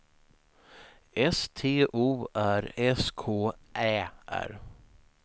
S T O R S K Ä R